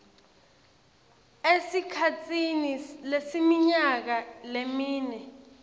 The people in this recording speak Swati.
esikhatsini lesiminyaka lemine